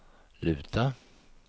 luta